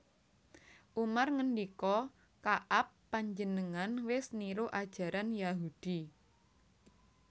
Umar ngendika Ka ab Panjenengan wis niru ajaran Yahudi